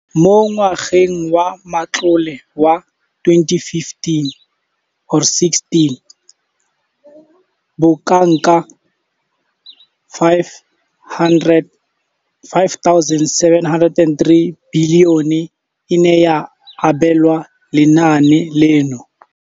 Mo ngwageng wa matlole wa 2015 kgotsa 16, bokanaka R5 703 bilione e ne ya abelwa lenaane leno.